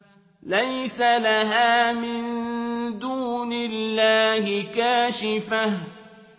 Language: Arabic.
لَيْسَ لَهَا مِن دُونِ اللَّهِ كَاشِفَةٌ